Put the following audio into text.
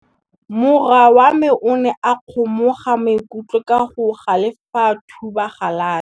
Morwa wa me o ne a kgomoga maikutlo ka go galefa fa a thuba galase.